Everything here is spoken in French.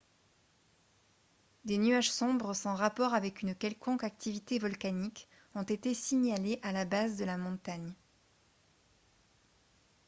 des nuages sombres sans rapport avec une quelconque activité volcanique ont été signalés à la base de la montagne